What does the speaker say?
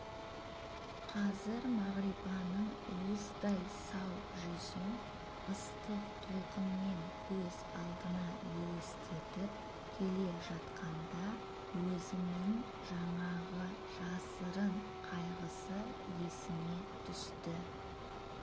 қазір мағрипаның уыздай сау жүзін ыстық толқынмен көз алдына елестетіп келе жатқанда өзінің жаңағы жасырын қайғысы есіне түсті